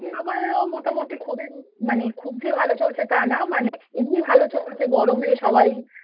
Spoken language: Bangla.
আমারও মোটামুটি খুব ই মানে খুব যে ভালো চলছে তা না মানে এমনি ভালো চলছে গরমে সবাই